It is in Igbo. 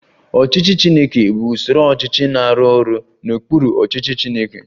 Ọchịchị Chineke bụ usoro ọchịchị na-arụ ọrụ n'okpuru ọchịchị Chineke